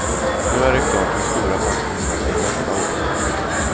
Nu är det klart hur stora pensionerna blir nästa år.